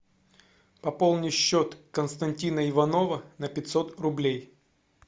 пополни счет константина иванова на пятьсот рублей